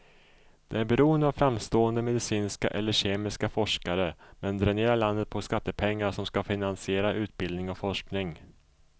Det är beroende av framstående medicinska eller kemiska forskare, men dränerar landet på skattepengar som ska finansiera utbildning och forskning.